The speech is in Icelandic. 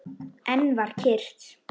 Enn var kyrrt.